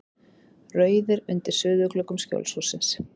Rauðir undir suðurgluggum Skjólshússins.